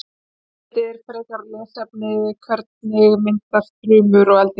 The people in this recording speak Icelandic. Heimildir og frekara lesefni: Hvernig myndast þrumur og eldingar?